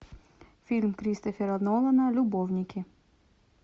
фильм кристофера нолана любовники